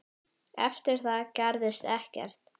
Eftir það gerðist ekkert.